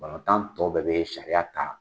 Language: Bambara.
Balontan tɔ bɛɛ bɛ sariya ta